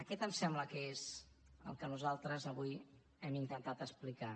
aquest em sembla que és el que nosaltres avui hem intentat explicar